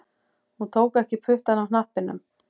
Hann tók ekki puttann af hnappinum